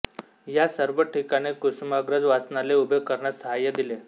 या सर्व ठिकाणी कुसुमाग्रज वाचनालय उभे करण्यास साहाय्य दिले